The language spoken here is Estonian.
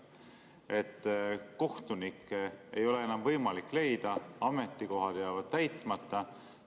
Kohtunikke ei ole enam võimalik leida, ametikohad jäävad täitmata.